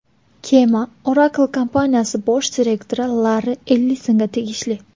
Kema Oracle kompaniyasi bosh direktori Larri Ellisonga tegishli.